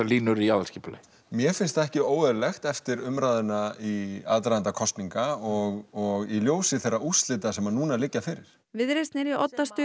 línur í aðalskipulagi mér finnst það ekki óeðlilegt eftir umræðuna í aðdraganda kosninga og í ljósi þeirra úrslita sem nú liggja fyrir viðreisn er í